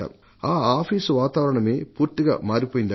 ఆ ఆఫీసు వాతావరణమే పూర్తిగా మారిపోయిందంట